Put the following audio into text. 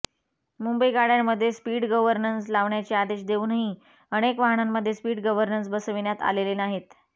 मुंबई गाडय़ांमध्ये speed governance लावण्याचे आदेश देऊनही अनेक वाहनांमध्ये स्पीड गव्हर्नन्स बसविण्यात आलेले नाहीत